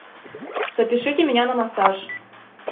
запишите меня на массаж